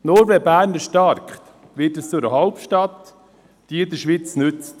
Nur wenn Bern erstarkt, wird es zu einer Hauptstadt, die der Schweiz nützt.